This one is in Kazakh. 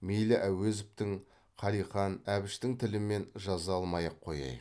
мейлі әуезовтің қалиқан әбіштің тілімен жаза алмай ақ қояйық